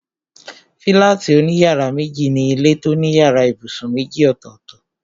Fílátì òní yàrá méjì ni ilé tó ní yàrá ibùsùn méjì ọ̀tọ̀ọ̀tọ̀